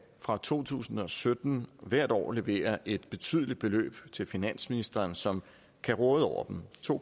fra to tusind og sytten hvert år levere et betydeligt beløb til finansministeren som kan råde over dem to